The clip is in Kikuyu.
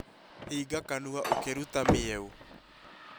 Hinga kanua ukirũta mĩeo